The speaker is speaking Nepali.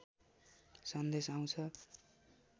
सन्देश आउँछ